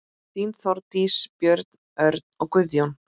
Þín, Þórdís, Björn, Örn, Guðjón.